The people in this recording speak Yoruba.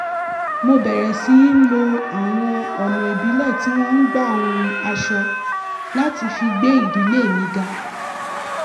mo bẹ̀rẹ̀ sí lo àwọn àwọn ọ̀nà ìbílẹ̀ tí wọ́n ń gbà hun aṣọ láti fi gbé ìdílé mi ga